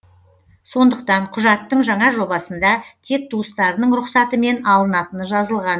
сондықтан құжаттың жаңа жобасында тек туыстарының рұқсатымен алынатыны жазылған